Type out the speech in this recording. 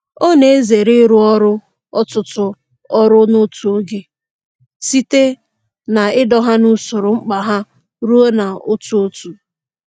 Ọ na-ezere ịrụ ọtụtụ ọrụ n'otu oge, site n'ido ha n'usoro mkpa ha rụọ ha otu otu.